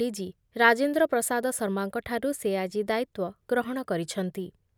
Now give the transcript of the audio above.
DG Rajendra Prasad ଶର୍ମାଙ୍କଠାରୁ ସେ ଆଜି ଦାୟିତ୍ଵ ଗ୍ରହଣ କରିଛନ୍ତି ।